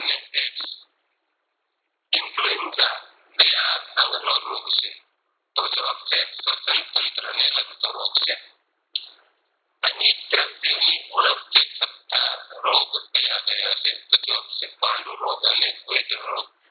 સંઘ નો રોગ છે તો જવાબ છે સ્વ્સ્ન તંત્રને લગતો રોગ છે ખનીજ દ્રવ્યોની ઉણપથી થતા રોગ ક્યાં ક્યાં છે તો જવાબ છે પાંડુ રોગ અને Goiter રોગ